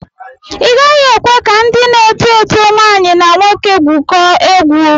Ị gaghị ekwe ka ndị na-eto eto nwaanyi na nwoke gwụkọọ egwu.